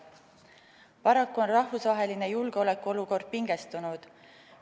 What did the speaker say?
Paraku on rahvusvaheline julgeolekuolukord pingestunud.